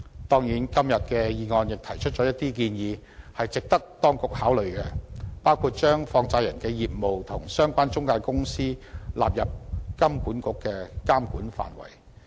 當然，今天的議案亦提出了一些值得當局考慮的建議，包括把放債人業務及相關中介公司納入香港金融管理局監管範圍。